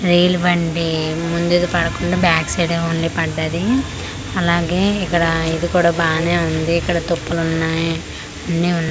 రెల్ బండి ముందుకు పడకుండా బ్యాక్ సైడ్ ఏ పడ్డది అలాగే ఇక్కడ ఇది కూడా బానే ఉంది ఇక్కడ తుప్పలు ఉన్నాయి అన్నీ ఉన్--